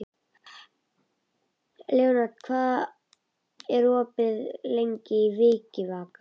Leópold, hvað er opið lengi í Vikivaka?